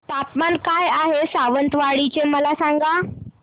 तापमान काय आहे सावंतवाडी चे मला सांगा